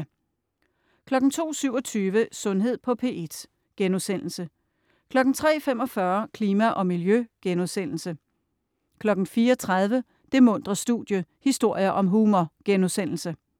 02.27 Sundhed på P1* 03.45 Klima og miljø* 04.30 Det muntre studie. historier om humor*